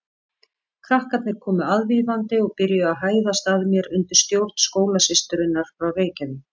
Krakkarnir komu aðvífandi og byrjuðu að hæðast að mér undir stjórn skólasysturinnar frá Reykjavík.